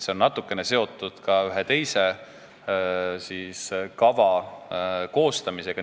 See on natuke seotud ka ühe teise kava koostamisega.